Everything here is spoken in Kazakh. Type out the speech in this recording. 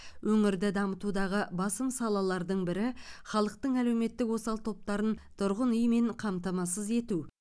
өңірді дамытудағы басым салалардың бірі халықтың әлеуметтік осал топтарын тұрғын үймен қамтамасыз ету